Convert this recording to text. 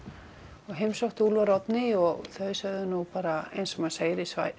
og heimsótti Úlfar og Oddnýju og þau sögðu bara eins og maður segir í